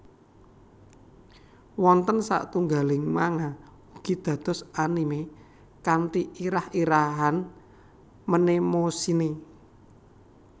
Wonten satunggaling manga ugi dados anime kanthi irah irahan Mnemosyne